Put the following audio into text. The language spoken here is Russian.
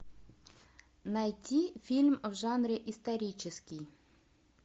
найти фильм в жанре исторический